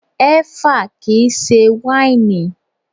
Ẹ́fà kìí ṣe wáìnì.